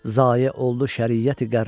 Zayə oldu şəriyəti qərra.